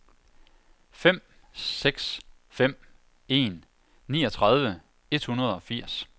fem seks fem en niogtredive et hundrede og firs